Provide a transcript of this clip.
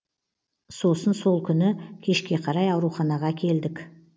сосын сол күні кешке қарай ауруханаға әкелдік